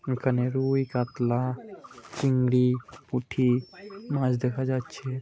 এখানে রুই কাতলা চিংড়ি পুটি মাছ দেখা যাচ্ছে।